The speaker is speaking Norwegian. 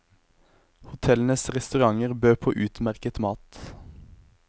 Hotellenes restauranter bød på utmerket mat.